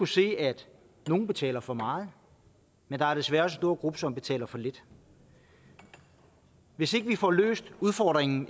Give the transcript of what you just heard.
se at nogle betaler for meget men der er desværre stor gruppe som betaler for lidt hvis ikke vi får løst udfordringen